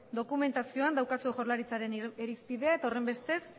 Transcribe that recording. dokumentazioan daukazue jaurlaritzaren irizpidea eta horrenbestez